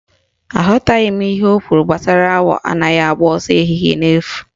Aghọtaghị m ihe ọ kwụrụ gbasara awọ anaghị agba ọsọ ehihie n'efu